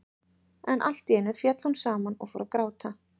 En allt í einu féll hún saman og fór að gráta.